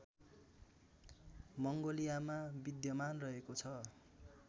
मङ्गोलियामा विद्यमान रहेको छ